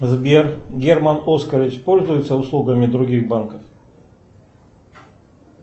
сбер герман оскарович пользуется услугами других банков